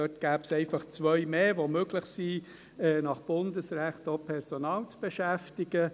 dort gäbe es zwei Sonntage mehr, an welchen es möglich wäre, auch nach Bundesrecht, Personal zu beschäftigen.